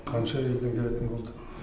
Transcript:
қанша елден келетін болды